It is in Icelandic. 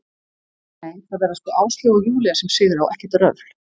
Nei, það verða sko Áslaug og Júlía sem sigra og ekkert röfl.